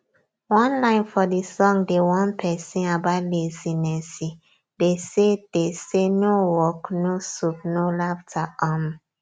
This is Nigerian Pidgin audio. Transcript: one line for the song dey warn persin about lazinesse dey say dey say no work no soup no laughter um